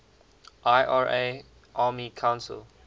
ira army council